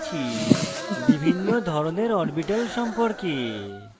in tutorial শিখেছি বিভিন্ন ধরনের orbitals সম্পর্কে